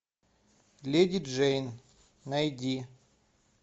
леди джейн найди